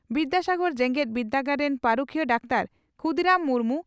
ᱵᱤᱫᱭᱟᱥᱟᱜᱚᱨ ᱡᱮᱜᱮᱛ ᱵᱤᱨᱫᱟᱹᱜᱟᱲ ᱨᱤᱱ ᱯᱟᱹᱨᱤᱠᱷᱤᱭᱟᱹ ᱰᱟᱠᱛᱟᱨ ᱠᱷᱩᱫᱤᱨᱟᱢ ᱢᱩᱨᱢᱩ